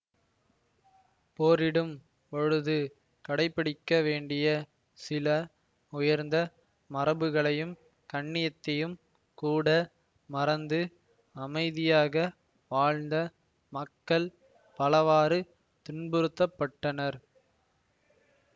போரிடும் பொழுது கடைபிடிக்கவேண்டிய சில உயர்ந்த மரபுகளையும் கண்ணியத்தையும் கூட மறந்து அமைதியாக வாழ்ந்த மக்கள் பலவாறு துன்புறுத்தப்பட்டனர்